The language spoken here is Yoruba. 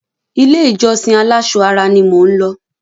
Ilé-ìjọsìn aláṣọ ara ni mò ń lọ.